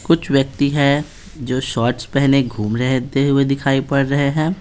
कुछ व्यक्ति है जो शॉर्ट्स पहने घूम रहेते हुए दिखाई पड़ रहे है।